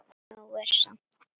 Nóg er samt.